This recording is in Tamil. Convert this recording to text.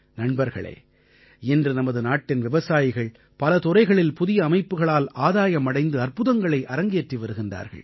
நண்பர்களே இன்று நமது நாட்டின் விவசாயிகள் பல துறைகளில் புதிய அமைப்புக்களால் ஆதாயம் அடைந்து அற்புதங்களை அரங்கேற்றி வருகிறார்கள்